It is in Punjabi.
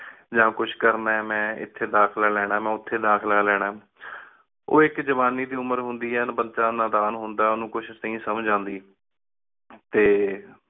ਯਾ ਕੁਸ਼ ਕਰਨਾ ਹੈ ਮੇਂ ਏਥੀ ਦਾਖਲਾ ਲੇਣਾ ਮੇਂ ਓਥੀ ਦਾਖਲਾ ਲੇਣਾ ਆ। ਓਹ ਇਕ ਜਵਾਨੀ ਦੀ ਉਮਰ ਹੁੰਦੀ ਆਯ ਬਚਾ ਨਾਦਾਨ ਹੁੰਦਾ ਆ, ਓਹਨੁ ਕੁਝ ਨੀ ਸਮਜ ਆਂਦੀ ਤੇ